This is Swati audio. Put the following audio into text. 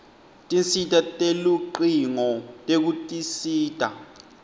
tinsita telucingo tekutisita